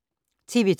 TV 2